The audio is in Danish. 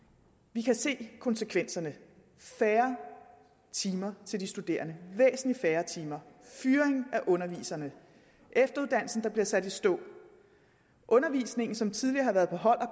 vi kan se konsekvenserne færre timer til de studerende væsentlig færre timer fyring af undervisere efteruddannelsen bliver sat i stå undervisning som tidligere har været på hold og